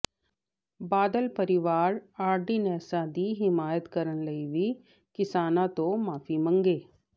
ਬਾਦਲ ਪਰਿਵਾਰ ਆਰਡੀਨੈਂਸਾਂ ਦੀ ਹਮਾਇਤ ਕਰਨ ਲਈ ਵੀ ਕਿਸਾਨਾਂ ਤੋਂ ਮਾਫੀ ਮੰਗੇ